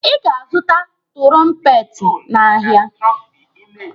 Ị ga-azụta tụrọmpeti n'ahịa.